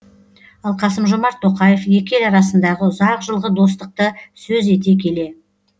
ал қасым жомарт тоқаев екі ел арасындағы ұзақ жылғы достықты сөз ете келе